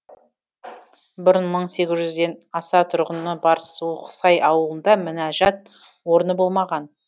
бұрын мың сегіз жүзден аса тұрғыны бар суықсай ауылында мінәжат орны болмаған